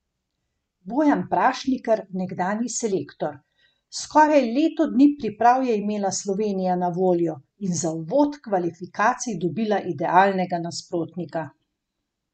Bojan Prašnikar, nekdanji selektor: 'Skoraj leto dni priprav je imela Slovenija na voljo in za uvod kvalifikacij dobila idealnega nasprotnika.